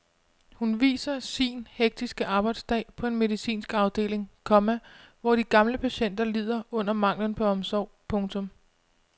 Hun viser sin hektiske arbejdsdag på en medicinsk afdeling, komma hvor de gamle patienter lider under manglen på omsorg. punktum